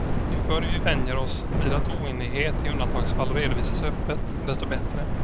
Ju förr vi vänjer oss vid att oenighet i undantagsfall redovisas öppet, desto bättre.